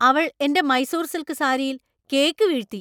അവൾ എന്‍റെ മൈസൂർ സിൽക്ക് സാരിയിൽ കേക്ക് വീഴ്ത്തി.